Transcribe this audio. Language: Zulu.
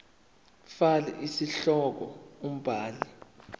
fal isihloko umbhali